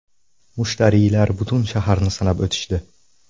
Mushtariylar butun shaharni sanab o‘tishdi.